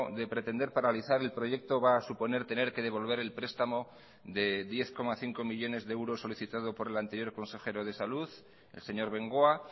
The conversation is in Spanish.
de pretender paralizar el proyecto va a suponer tener que devolver el prestamo de diez coma cinco millónes de euros solicitado por el anterior consejero de salud el señor bengoa